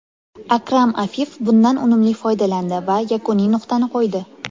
Akram Afif bundan unumli foydalandi va yakuniy nuqtani qo‘ydi.